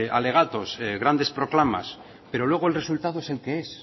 alegatos grandes proclamas pero luego el resultado es el que es